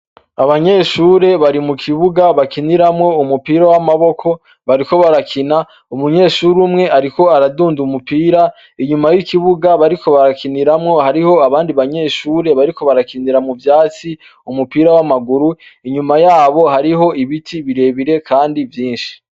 Abanyeshure bari mu kibuga bakiniramwo umupira w'amaboko bariko barakina umunyeshure umwe ariko aradunda umupira inyuma w'ikibuga bariko barakiniramwo hariho abandi banyeshure bariko barakiniramwo mu vyatsi umupira w'amaguru inyuma yaho hariho ibiti birebire kandi vyinshi.